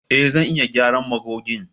Eh! Zan iya gyara magogin.